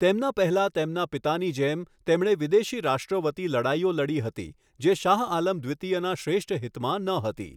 તેમના પહેલા તેમના પિતાની જેમ, તેમણે વિદેશી રાષ્ટ્રો વતી લડાઈઓ લડી હતી જે શાહઆલમ દ્વિતીયના શ્રેષ્ઠ હિતમાં ન હતી.